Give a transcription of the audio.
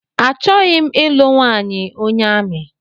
Achọghị m ịlụ nwanyị onye amị